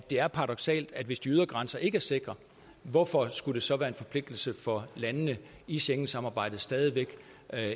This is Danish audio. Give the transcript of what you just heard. er paradoksalt hvis de ydre grænser ikke er sikre hvorfor skulle det så være en forpligtelse for landene i schengensamarbejdet stadig væk